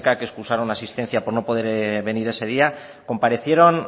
que excusaron asistencia por no poder venir ese día comparecieron